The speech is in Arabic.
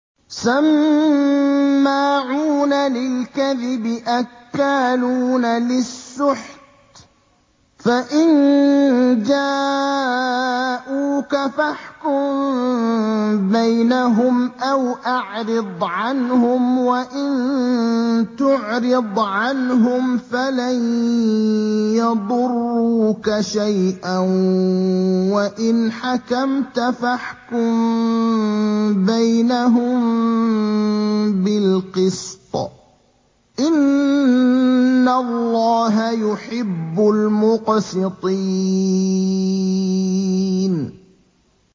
سَمَّاعُونَ لِلْكَذِبِ أَكَّالُونَ لِلسُّحْتِ ۚ فَإِن جَاءُوكَ فَاحْكُم بَيْنَهُمْ أَوْ أَعْرِضْ عَنْهُمْ ۖ وَإِن تُعْرِضْ عَنْهُمْ فَلَن يَضُرُّوكَ شَيْئًا ۖ وَإِنْ حَكَمْتَ فَاحْكُم بَيْنَهُم بِالْقِسْطِ ۚ إِنَّ اللَّهَ يُحِبُّ الْمُقْسِطِينَ